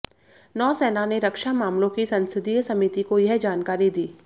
नौसेना ने रक्षा मामलों की संसदीय समिति को यह जानकारी दी